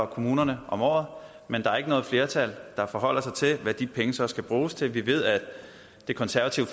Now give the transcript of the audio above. kommunerne om året men der er ikke noget flertal der forholder sig til hvad de penge så skal bruges til vi ved at det konservative